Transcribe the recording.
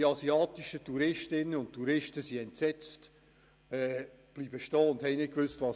Die asiatischen Touristinnen und Touristen blieben entsetzt stehen und wussten nicht, wie ihnen geschah.